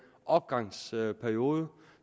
opgangsperiode